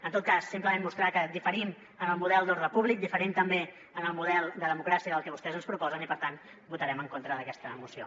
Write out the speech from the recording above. en tot cas simplement mostrar que diferim en el model d’ordre públic diferim també en el model de democràcia del que vostès ens proposen i per tant votarem en contra d’aquesta moció